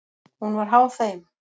Hún var háð þeim.